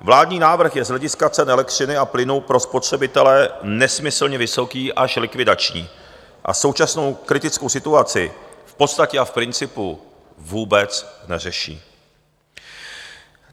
Vládní návrh je z hlediska cen elektřiny a plynu pro spotřebitele nesmyslně vysoký, až likvidační, a současnou kritickou situaci v podstatě a v principu vůbec neřeší.